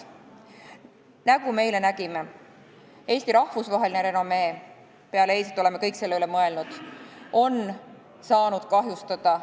Nagu me eile nägime, Eesti rahvusvaheline renomee – peale eilset oleme kõik selle üle mõelnud – on saanud kahjustada.